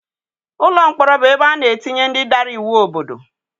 Ụlọ mkpọrọ bụ ebe ana etinye ndị dara iwu obodo.